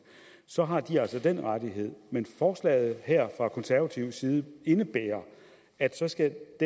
så har de altså den rettighed men forslaget her fra konservativ side indebærer at så skal